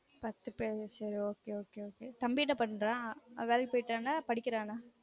பத்து பேர் ok ok தம்பி என்ன பண்றான் அவன் வேலைக்கு போய்ட்டானா படிக்குறானா